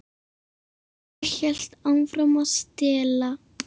Ég hélt áfram að stela.